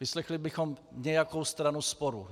Vyslechli bychom nějakou stranu sporu.